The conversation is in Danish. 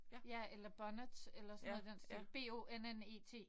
Ja eller bonnet eller sådan noget i den stil. B O N N E T